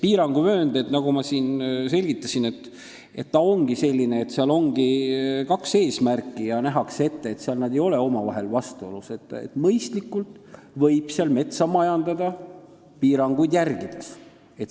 Piiranguvööndil, nagu ma siin selgitasin, ongi kaks eesmärki, mis ei ole omavahel vastuolus, ja nähakse ette, et seal võib mõistlikult metsa majandada, piiranguid järgides.